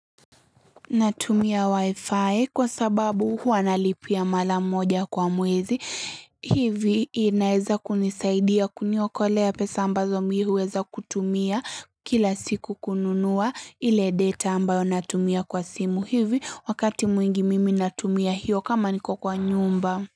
Natumia wi-fi kwa sababu hua nalipia mara moja kwa mwezi, hivi inaeza kunisaidia kuniokolea pesa ambazo mimi huweza kutumia kila siku kununua ile data ambayo natumia kwa simu hivi wakati mwingi mimi natumia hio kama niko kwa nyumba.